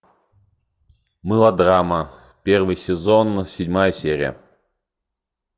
мылодрама первый сезон седьмая серия